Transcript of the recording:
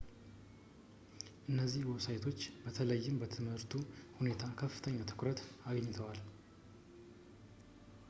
እነዚህ ዌብሳይቶች በተለይም በትምህርቱ ሁኔታ ከፍተኛ ትኩረት አግኝተዋል